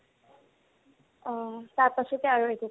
অ, তাঁত আছেতো আৰু একো কৰিব